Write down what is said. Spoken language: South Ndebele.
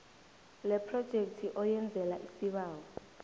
lephrojekthi oyenzela isibawo